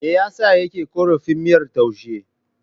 Me ya sa yake korafin miyar taushen?